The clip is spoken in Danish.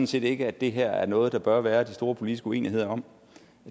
set ikke at det her er noget der bør være de store politiske uenigheder om